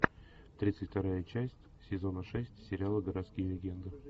тридцать вторая часть сезона шесть сериала городские легенды